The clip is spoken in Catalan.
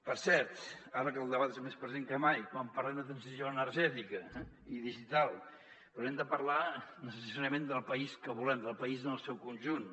per cert ara que el debat és més present que mai quan parlem de transició energètica i digital hem de parlar necessàriament del país que volem del país en el seu conjunt